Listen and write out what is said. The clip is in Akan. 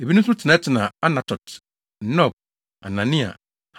Ebinom nso tenatenaa Anatot, Nob, Anania,